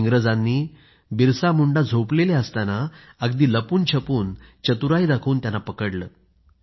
इंग्रजांनी बिरसा मुंडा झोपलेले असताना अगदी लपूनछपून अतिशय चतुराई दाखवून त्यांना पकडलं